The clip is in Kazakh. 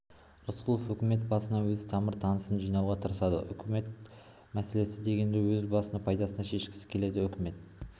рысқұлов өкімет басына өз тамыр-таныстарын жинауға тырысады ұлт мәселесі дегенді өз бас пайдасына шешкісі келеді өкіметті